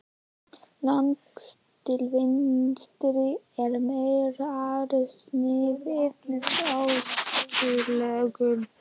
Lengst til vinstri er mýrarsniðið með öskulögum.